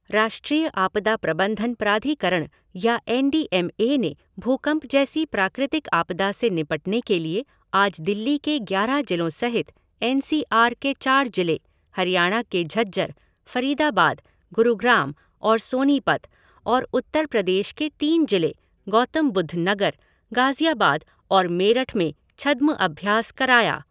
राष्ट्रीय आपदा प्रबंधन प्राधिकरण या एन डी एम ए ने भूकंप जैसी प्राकृतिक आपदा से निपटने के लिए आज दिल्ली के ग्यारह जिलों सहित एन सी आर के चार जिले, हरियाणा के झज्जर, फ़रीदाबाद, गुरुग्राम और सोनीपत और उत्तर प्रदेश के तीन जिले, गौतम बौद्ध नगर, गाज़ियाबाद और मेरठ में छद्म अभ्यास कराया।